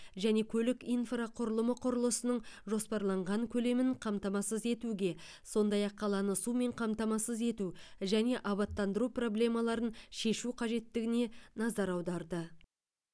және көлік инфрақұрылымы құрылысының жоспарланған көлемін қамтамасыз етуге сондай ақ қаланы сумен қамтамасыз ету және абаттандыру проблемаларын шешу қажеттігіне назар аударды